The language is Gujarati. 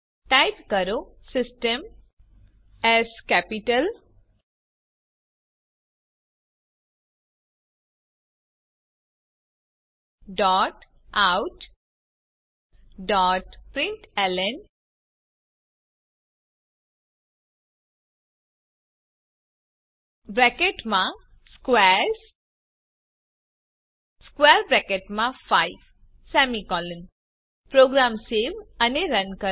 ટાઇપ કરો Systemoutprintlnસ્ક્વેર્સ 5 પ્રોગ્રામ સેવ અને રન કરો